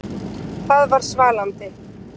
Það var svalandi.